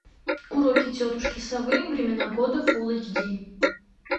уроки тетушки совы времена года фулл эйч ди